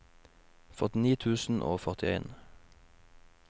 førtini tusen og førtien